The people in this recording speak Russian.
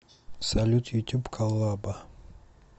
салют ютюб коллаба